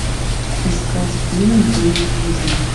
искать фильм девять жизней